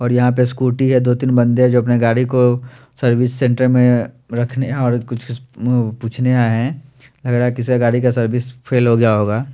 और यहां पे स्कूटी है दो तीन बंदे जो अपने गाड़ी को सर्विस सेंटर में रखने और कुछ इस पूछने आए है। किसी गाड़ी का सर्विस फेल हो गया होगा।